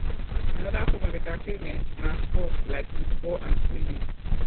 another form of entertainment na sports like football and swimming